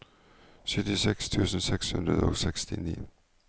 syttiseks tusen seks hundre og sekstini